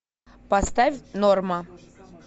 поставь норма